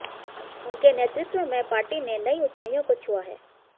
उनके नेतृत्व में पार्टी ने नई ऊंचाईयों को छूआ है